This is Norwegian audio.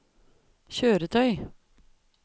kjøretøy